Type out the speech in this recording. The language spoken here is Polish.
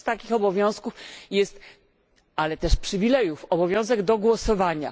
Jednym z takich obowiązków jest ale też przywilejów obowiązek do głosowania.